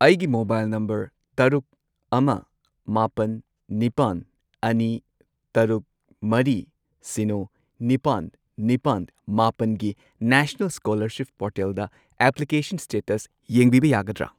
ꯑꯩꯒꯤ mobile number ꯇꯔꯨꯛ, ꯑꯃ, ꯃꯥꯄꯟ, ꯅꯤꯄꯥꯟ, ꯑꯅꯤ, ꯇꯔꯨꯛ, ꯃꯔꯤ, ꯁꯤꯅꯣ, ꯅꯤꯄꯥꯜ, ꯅꯤꯄꯥꯜ, ꯃꯥꯄꯜꯒꯤ ꯅꯦꯁꯅꯦꯜ ꯁ꯭ꯀꯣꯂꯔꯁꯤꯞ ꯄꯣꯔꯇꯦꯜꯗ ꯑꯦꯄ꯭ꯂꯤꯀꯦꯁꯟ ꯁ꯭ꯇꯦꯇꯁ ꯌꯦꯡꯕꯤꯕ ꯌꯥꯒꯗ꯭ꯔꯥ?